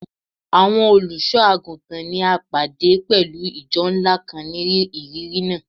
Awọn oluso-aguntan ni a pade pẹlu ijọ nla kan ni iriri naa